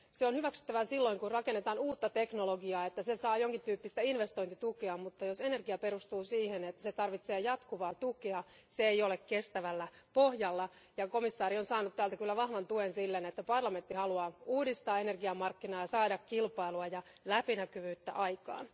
On hyväksyttävää silloin, kun rakennetaan uutta teknologiaa, että se saa jonkin tyyppistä investointitukea, mutta jos energia perustuu siihen, että se tarvitsee jatkuvaa, tukea, se ei ole kestävällä pohjalla. Komissaari on saanut täältä kyllä vahvan tuen siten, että Euroopan parlamentti haluaa uudistaa energiamarkkinoita, saada kilpailua ja läpinäkyvyyttä aikaan.